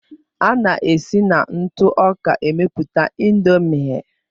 A na-esi na ntụ ọka emeputa Indomie.